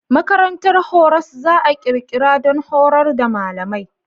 Makarantar horas za a ƙirƙira don horar da malamai.